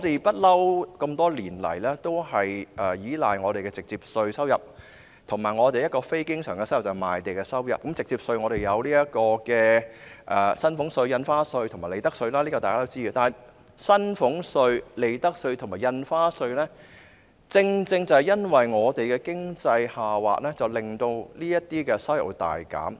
這麼多年來，香港一直依賴直接稅收入和非經常性收入——即是賣地收入——而直接稅方面，我們有薪俸稅、印花稅和利得稅，這是大家都知道的，但薪俸稅、利得稅和印花稅的收入會因為經濟下滑而大減。